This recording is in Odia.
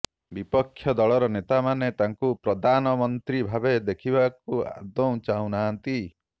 ବିପକ୍ଷ ଦଳର ନେତାମାନେ ତାଙ୍କୁ ପ୍ରଦାନମନ୍ତ୍ରୀ ଭାବେ ଦେଖିବାକୁ ଆଦୌ ଚାହୁଁନାହାନ୍ତି